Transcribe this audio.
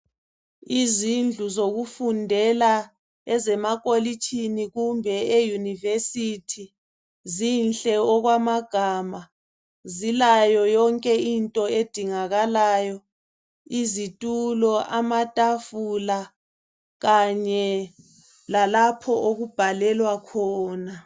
Izindlu zokufundela ezemakolitshini kumbe eYunivesithi zinhle okwamagama, zilayo yonke into edingakalayo izitulo, amatafula kanye lalapho okubhalelwa khona.